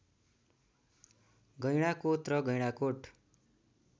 गैंडाकोत र गैंडाकोट